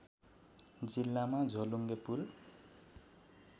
जिल्लामा झोलुङ्गे पुल